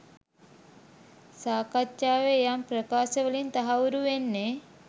සාකච්ඡාවේ යම් ප්‍රකාශ වලින් තහවුරු වෙන්නෙ.